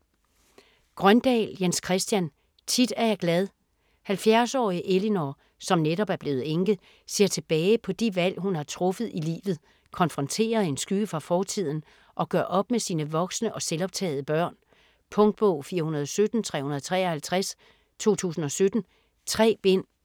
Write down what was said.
Grøndahl, Jens Christian: Tit er jeg glad 70-årige Elinor, som netop er blevet enke, ser tilbage på de valg hun har truffet i livet, konfronterer en skygge fra fortiden, og gør op med sine voksne og selvoptagede børn. Punktbog 417353 2017. 3 bind.